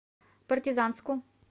партизанску